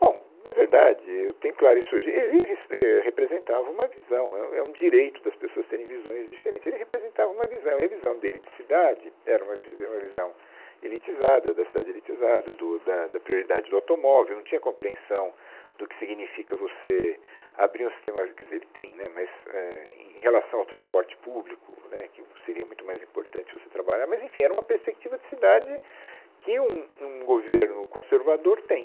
Bom, na verdade, eu tenho claro isso hoje, ele res, re, é representava uma visão, é, é, um direito das pessoas terem visões diferentes, ele representava uma visão e a visão dele de cidade era uma vi, era uma visão elitizada, da cidade elitizada, do da da prioridade do automóvel, não tinha compreensão do que significa você abrir um sistema, quer dizer, ele tem, né, mas é em em relação ao transporte público, né, que isso seria muito mais importante você trabalhar, mas enfim, era uma perspectiva de cidade que um um governo conservador tem.